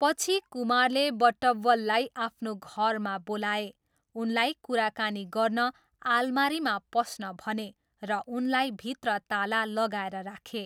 पछि, कुमारले बटवब्बललाई आफ्नो घरमा बोलाए, उनलाई कुराकानी गर्न अलमारीमा पस्न भने र उनलाई भित्र ताला लगाएर राखे।